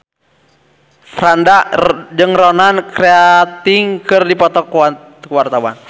Franda jeung Ronan Keating keur dipoto ku wartawan